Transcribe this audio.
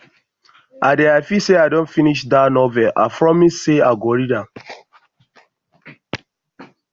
i dey happy say i don finish dat novel i promise say i go read